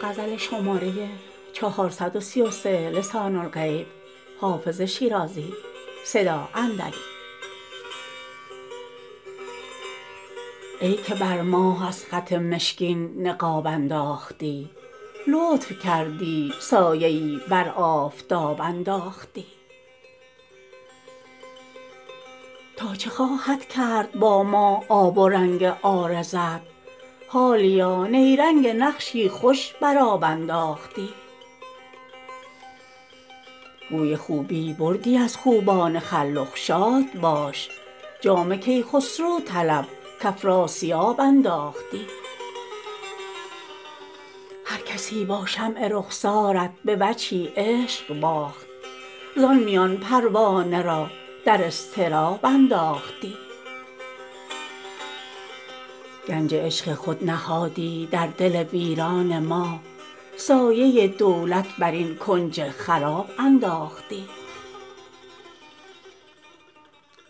ای که بر ماه از خط مشکین نقاب انداختی لطف کردی سایه ای بر آفتاب انداختی تا چه خواهد کرد با ما آب و رنگ عارضت حالیا نیرنگ نقشی خوش بر آب انداختی گوی خوبی بردی از خوبان خلخ شاد باش جام کیخسرو طلب کافراسیاب انداختی هرکسی با شمع رخسارت به وجهی عشق باخت زان میان پروانه را در اضطراب انداختی گنج عشق خود نهادی در دل ویران ما سایه دولت بر این کنج خراب انداختی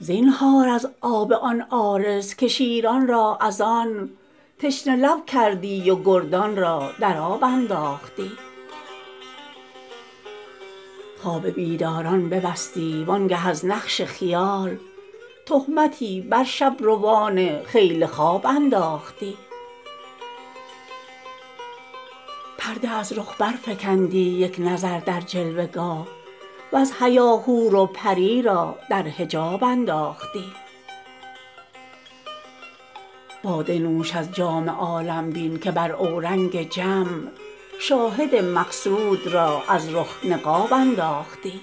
زینهار از آب آن عارض که شیران را از آن تشنه لب کردی و گردان را در آب انداختی خواب بیداران ببستی وآن گه از نقش خیال تهمتی بر شب روان خیل خواب انداختی پرده از رخ برفکندی یک نظر در جلوه گاه وز حیا حور و پری را در حجاب انداختی باده نوش از جام عالم بین که بر اورنگ جم شاهد مقصود را از رخ نقاب انداختی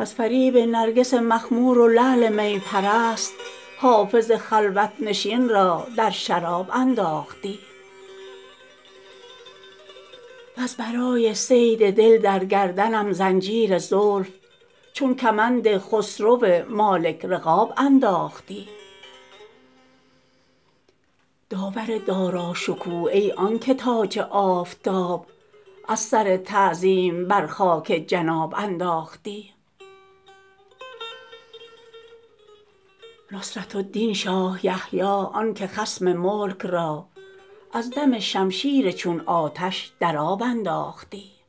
از فریب نرگس مخمور و لعل می پرست حافظ خلوت نشین را در شراب انداختی وز برای صید دل در گردنم زنجیر زلف چون کمند خسرو مالک رقاب انداختی داور داراشکوه ای آن که تاج آفتاب از سر تعظیم بر خاک جناب انداختی نصرة الدین شاه یحیی آن که خصم ملک را از دم شمشیر چون آتش در آب انداختی